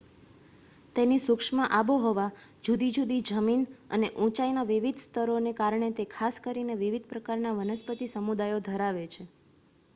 તેની સૂક્ષ્મ આબોહવા જુદી જુદી જમીન અને ઊંચાઈના વિવિધ સ્તરોને કારણે તે ખાસ કરીને વિવિધ પ્રકારના વનસ્પતિ સમુદાયો ધરાવે છે